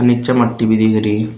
नीचे मट्टी भी दिख रही।